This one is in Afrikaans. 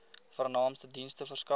vernaamste dienste verskaf